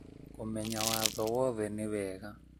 Kũmenya watho woothe nĩ wega